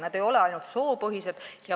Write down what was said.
Need ei ole ainult soopõhised.